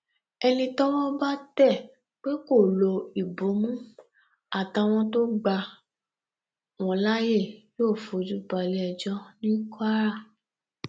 ẹni tọwọ bá tẹ pé kó lo ìbomú àtàwọn tó gbà wọn láàyè yóò fojú balẹẹjọ ní kwara